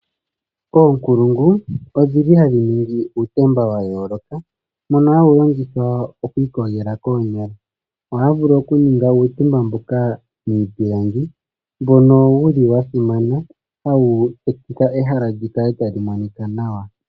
Oonkulungu ohadhi ningi uutemba wa yooloka woku iyogela koonyala taye wu hongo miipilangi. Ohaya vulu wo okuninga uutemba mbononwa simana woku ninga ehala li kale tali monika nawa.